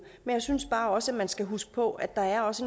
men jeg synes bare også man skal huske på at der også